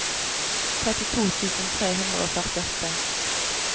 trettito tusen tre hundre og førtiåtte